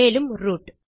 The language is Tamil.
மேலும் ரூட்